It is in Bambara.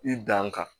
I dan kan